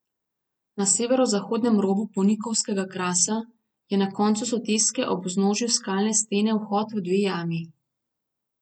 Na severozahodnem robu Ponikovskega krasa je na koncu soteske ob vznožju skalne stene vhod v dve jami.